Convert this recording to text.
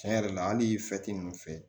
Tiɲɛ yɛrɛ la hali ninnu fɛ